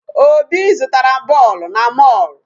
Obi zụtara bọọlụ na mall.